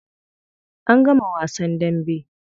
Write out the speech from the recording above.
An gama wasan dambe.